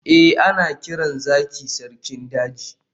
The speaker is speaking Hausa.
eh, ana kiran zaki sarkin daji